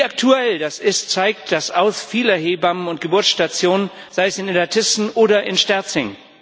Wie aktuell das ist, zeigt das Aus vieler Hebammen und Geburtsstationen, sei es in Illertissen oder in Sterzing.